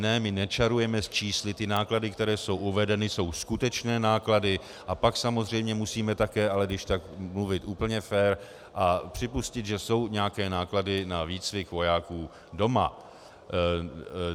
Ne, my nečarujeme s čísly, ty náklady, které jsou uvedeny, jsou skutečné náklady a pak samozřejmě musíme také ale když tak mluvit úplně fér a připustit, že jsou nějaké náklady na výcvik vojáků doma.